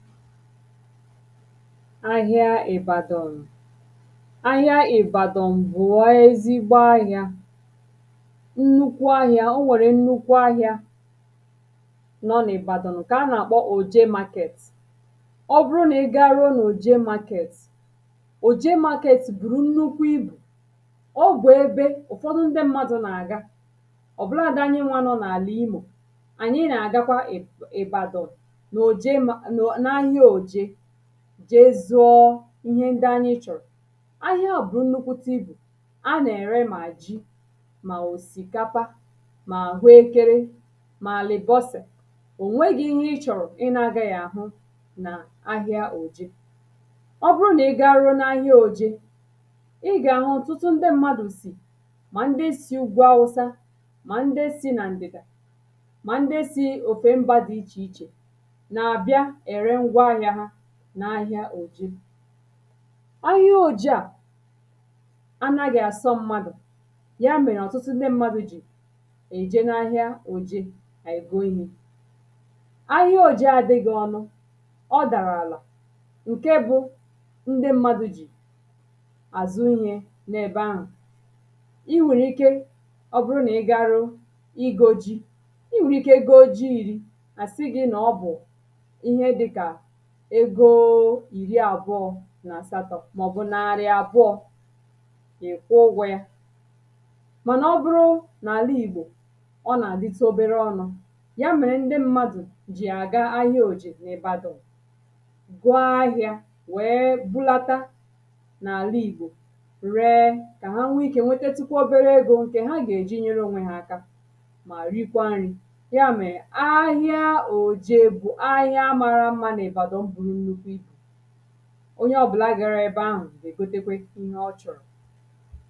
ahịa Ibadan ahịa Ibadan bù a ezigbo ahịa nnukwu ahịa o nwèrè nnukwu ahịa nọ n’ibadon ǹkè a na-akpọ òje market ọ bụrụ nà ị garuo nà òje market òje market bùrù nnukwu ibù ọ bù ebe ụ̀fọdụ ndị mmadụ nà-àga ọ̀ bụladị anyịnwa nọ n’àlà imò ànyị nà-àgakwa ib ibadon n’òje ma no n’ahịa òje jee zụọ ihe ndị anyị chọ̀rọ̀ ahịa à bù nnukwute ibù a na-ere mà ji mà òsìkapa mà àhụekere mà àlị̀bọsè ò nwegī ihe ị chọ̀rọ̀ ị na-agaghị àhụ nà ahịa òje ọ bụrụ nà ị garuo n’ahịa oje ị gà-àhụ ọ̀tụtụ ndị mmadụ̀ sì mà ndị si ugwu awụsa mà ndị si nà ǹdị̀dà mà ndị si n’òfè mbà dị ichè ichè nà-àbịa ère ngwa ahịa ha n’ahịa òje ahịa oje à anaghị àsọ m̀madù ya mèrè ọ̀tụtụ ndị mmadụ jì èje n’ahịa òje ègo ihē ahịa oje adịgị ọnụ ọ dàrà àlà ǹke bụ ndị mmadu jì azụ̀ ihē nà-ebe ahù I nwèrè ike ọ bụrụ nà ị garuo igō ji I nwèrè ike goo ji iri à sị gị nà ọ bụ̀ ego ìri àbụọ nà àsatọ màọ̀bụ̀ nàrị̀ àbụọ ị̀ kwụọ ụgwọ ya mànà ọ bụrụ n’àlá ìgbò ọ nà-àditu obere ọnụ ya mèrè ndị mmadù jì àga ahịa òjè n’ibadon goo ahịa wee bulata n’àla ìgbò ree kà ha nwee ike nwetetukwa obere egō ǹkè ha gà-èji nyere onwe ha aka mà rikwa nrī ya mèrè ahịa òjè bu ahịa mara mmā n’ibadon buru nnukwu ibù onye ọ̀bụ̀la gara ebe ahụ̀ gà-ègotekwe ihe ọ chọ̀rọ̀